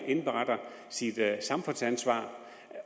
indberetter sit samfundsansvar